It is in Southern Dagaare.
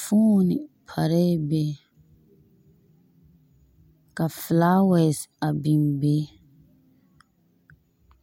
Fooni parԑԑ be ka filaawԑse a biŋ be.